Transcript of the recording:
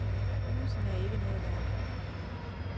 Husene er ikke noget værd.